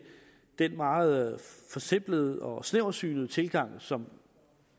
den meget forsimplede og snæversynede tilgang som